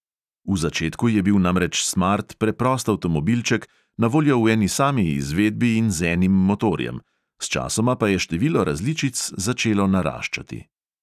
V začetku je bil namreč smart preprost avtomobilček, na voljo v eni sami izvedbi in z enim motorjem, sčasoma pa je število različic začelo naraščati.